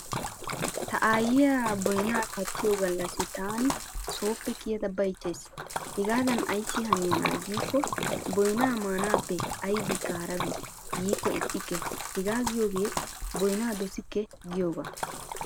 Ta aayyiya boynaa kattiyo gallasi taani sooppe kiyada bayichchayis. Hegaadan Ayssi haniyanaa giikko boynaa maanaappe aybikka harabi yiikoo ixxikke hegga giyogee boynaa dosikke giyoogaa.